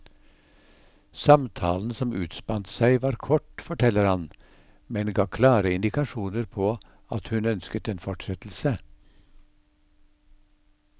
Samtalen som utspant seg var kort, forteller han, men ga klare indikasjoner på at hun ønsket en fortsettelse.